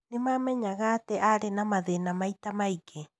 Nĩmamenyaga atĩ arĩ na mathĩna maita maingĩ.